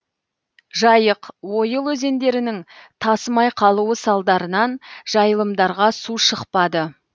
жайық ойыл өзендерінің тасымай қалуы салдарынан жайылымдарға су шықпады